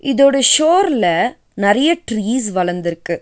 இதோட ஷோர்ல நறிய ட்ரீஸ் வளந்திருக்கு.